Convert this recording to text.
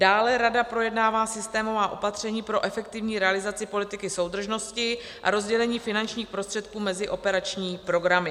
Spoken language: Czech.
Dále rada projednává systémová opatření pro efektivní realizaci politiky soudržnosti a rozdělení finančních prostředků mezi operační programy.